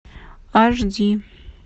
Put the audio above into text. аш ди